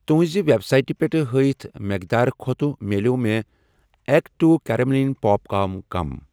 تُُہنٛزِ web سایٹہٕ پٮ۪ٹھ ہٲیِتھ مٮ۪قدار کھۄتہٕ مِلٮ۪و مےٚ اٮ۪کٹوٗ کیرٮ۪مٮ۪ل پاپکارن کم۔